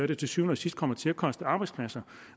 det til syvende og sidst kommer til at koste arbejdspladser